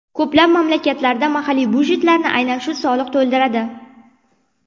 Ko‘plab mamlakatlarda mahalliy byudjetlarni aynan shu soliq to‘ldiradi.